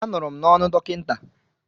Anụrụ m n'ọnụ dọkịta.